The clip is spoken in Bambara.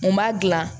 Mun b'a gilan